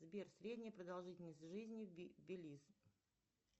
сбер средняя продолжительность жизни белис